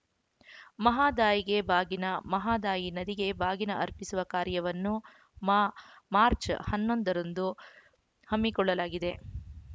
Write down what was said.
ಮಹದಾಯಿಗೆ ಬಾಗಿನ ಮಹದಾಯಿ ನದಿಗೆ ಬಾಗಿನ ಅರ್ಪಿಸುವ ಕಾರ್ಯವನ್ನು ಮಾ ಮಾರ್ಚ್ ಹನ್ನೊಂದರಂದು ಹಮ್ಮಿಕೊಳ್ಳಲಾಗಿದೆ